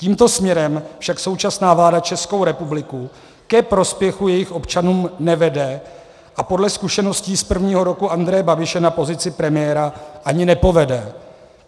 Tímto směrem však současná vláda Českou republiku ke prospěchu jejích občanů nevede a podle zkušeností z prvního roku Andreje Babiše na pozici premiéra ani nepovede.